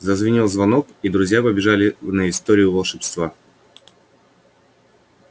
зазвенел звонок и друзья побежали на историю волшебства